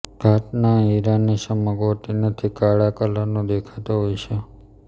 ઘાટના હિરાની ચમક હોતી નથી કાળા કલરનો દેખાતો હોય છે